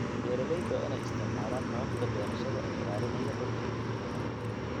Beeraleyda waa in ay isticmaalaan hababka beerashada ee ilaalinaya dhulka iyo biyaha.